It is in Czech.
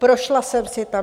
Prošla jsem si tam.